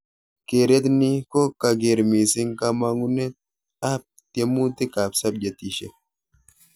Keret ni ko kaker mising kamangunet ap tiemutik ak subjetishek.